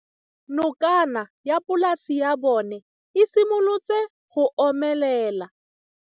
Nokana ya polase ya bona, e simolola go omelela.